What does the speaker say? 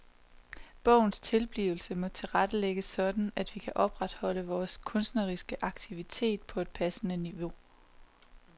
Bogens tilblivelse må tilrettelægges sådan at vi kan opretholde vores kunstneriske aktivitet på et passende niveau.